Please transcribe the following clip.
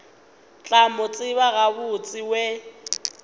tla mo tseba gabotse we